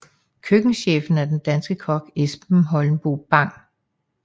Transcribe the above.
Køkkenchefen er den danske kok Esben Holmboe Bang